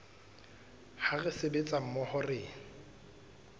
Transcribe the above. ha re sebetsa mmoho re